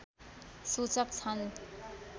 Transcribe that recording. सूचक छन्